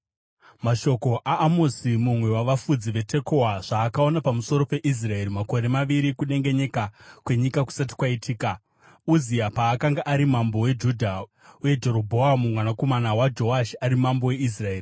Mashoko aAmosi mumwe wavafudzi veTekoa, zvaakaona pamusoro peIsraeri makore maviri kudengenyeka kwenyika kusati kwaitika, Uzia paakanga ari mambo weJudha uye Jerobhoamu mwanakomana waJoashi ari mambo weIsraeri.